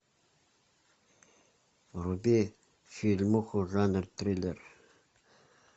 вруби фильмуху жанр триллер